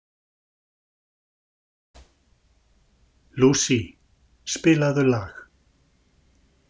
Lousie, spilaðu lag.